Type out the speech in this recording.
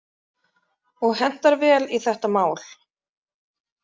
Og hentar vel í þetta mál.